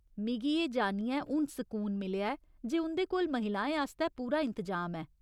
मिगी एह् जानियै हून सकून मिलेआ ऐ जे उं'दे कोल महिलाएं आस्तै पूरा इंतजाम ऐ।